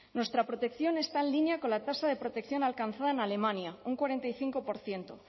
nuestra protección está en línea con la tasa de protección alcanzada en alemania un cuarenta y cinco por ciento